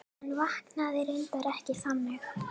En vaknaði reyndar ekki þannig.